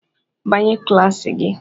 "Banye klas gị!"